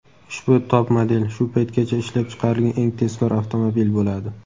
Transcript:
ushbu top-model "Shu paytgacha ishlab chiqarilgan eng tezkor avtomobil" bo‘ladi.